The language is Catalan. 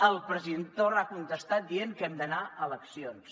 el president torra ha contestat dient que hem d’anar a eleccions